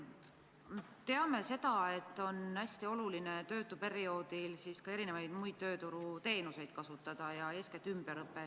Me teame seda, et töötuperioodil on hästi oluline kasutada erinevaid tööturuteenuseid, eeskätt ümberõpet.